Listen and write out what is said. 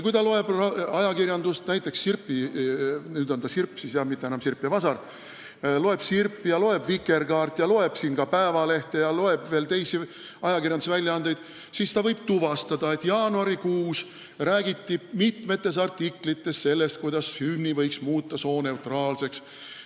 Kui ta loeb ajakirjandust, näiteks Sirpi – nüüd on see Sirp, mitte enam Sirp ja Vasar –, loeb Vikerkaart ja loeb ka Eesti Päevalehte ja veel teisi ajakirjandusväljaandeid, siis ta võib tuvastada, et jaanuaris räägiti mitmes artiklis sellest, kuidas hümni võiks muuta sooneutraalseks.